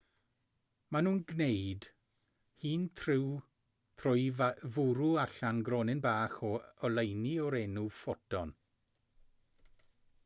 maen nhw'n gwneud hyn trwy fwrw allan gronyn bach o oleuni o'r enw ffoton